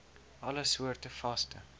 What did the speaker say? alle soorte vaste